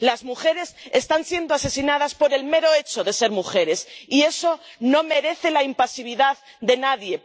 Las mujeres están siendo asesinadas por el mero hecho de ser mujeres, y eso no merece la impasibilidad de nadie.